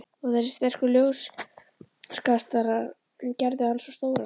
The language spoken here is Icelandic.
Og þessir sterku ljóskastarar gerðu hann svo stóran.